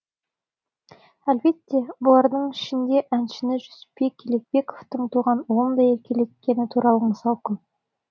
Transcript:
әлбетте бұлардың ішінде әншіні жүсіпбек елебековтің туған ұлындай еркелеткені туралы мысал көп